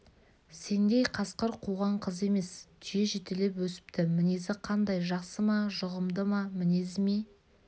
сендей қасқыр қуған қыз емес түйе жетелеп өсіпті мінезі қандай жақсы ма жұғымды ма мінезі ме